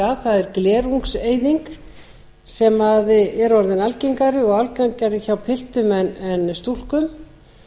að hafa auga með og áhyggjur af er glerungseyðing sem er orðin algengari og algengari hjá piltum en stúlkum